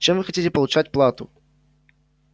чем вы хотите получать плату